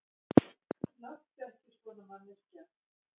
Láttu ekki svona manneskja.